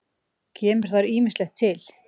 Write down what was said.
Kemur þar ýmislegt til.